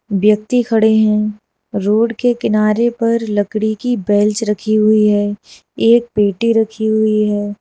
व्यक्ति खड़े हैं रोड के किनारे पर लकड़ी की बेल्च रखी हुई है एक पेटी रखी हुई है।